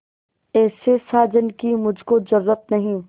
ऐसे साजन की मुझको जरूरत नहीं